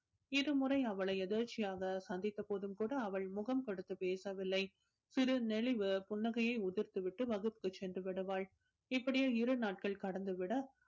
இரு முறை அவளை எதர்ச்சியாக சந்தித்த போதும் கூட அவள் முகம் கொடுத்து பேசவில்லை சிறு நெளிவு புன்னகையை உதிர்த்து விட்டு வகுப்புக்கு சென்று விடுவாள். இப்படியே இரு நாட்கள் கடந்து விட